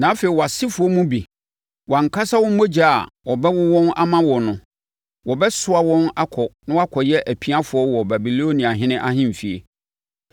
Na afei wʼasefoɔ mu bi, wʼankasa wo mogya a wɔbɛwo wɔn ama wo no, wɔbɛsoa wɔn akɔ na wɔakɔyɛ apiafoɔ wɔ Babiloniahene ahemfie.”